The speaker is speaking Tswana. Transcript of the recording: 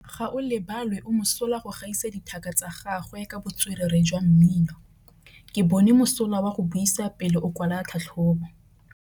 Gaolebalwe o mosola go gaisa dithaka tsa gagwe ka botswerere jwa mmino. Ke bone mosola wa go buisa pele o kwala tlhatlhobô.